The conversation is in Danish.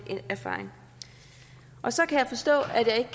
erfaring og så kan jeg forstå at jeg ikke